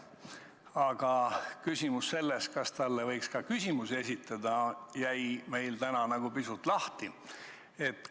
Aga küsimus sellest, kas talle võiks ka küsimusi esitada, jäi meil täna pisut lahtiseks.